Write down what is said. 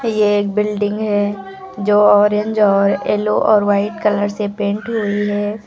ये एक बिल्डिंग है जो अरेंज और येलो और वाइट कलर से पेंट हुई है।